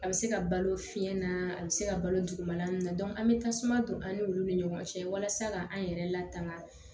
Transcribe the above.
A bɛ se ka balo fiɲɛ na a bɛ se ka balo dugumana na an bɛ tasuma don an n'olu ni ɲɔgɔn cɛ walasa ka an yɛrɛ latanga